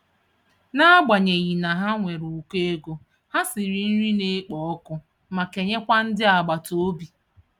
N'agbanyeghị na ha nwere ukọ ego, ha siri nri na-ekpo ọkụ ma kenye kwa ndị agbata obi.